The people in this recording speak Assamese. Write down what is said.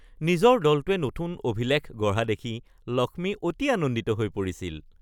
নিজৰ দলটোৱে নতুন অভিলেখ গঢ়া দেখি লক্ষ্মী অতি আনন্দিত হৈ পৰিছিল